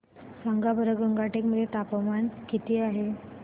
सांगा बरं गंगटोक मध्ये तापमान किती आहे